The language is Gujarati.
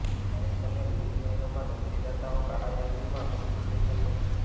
ક્યારેક તમે વિવિધ શહેરોમાં નોકરીદાતાઓ કાળા યાદીમાં કંપની જોઈ શકો છો